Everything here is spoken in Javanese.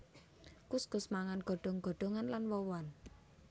Kuskus mangan godhong godhongan lan woh wohan